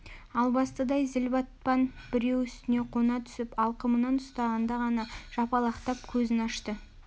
албастыдай зілбатпан біреу үстіне қона түсіп алқымынан ұстағанда ғана жапалақтап көзін ашты